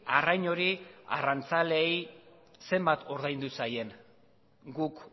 arrain hori arrantzaleei zenbat ordaindu zaien guk